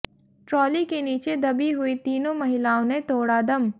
trolley के नीचे दबी हुई तीनों महिलाओं ने तोड़ा दम